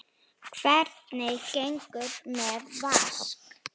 Hvernig gengur með Vask?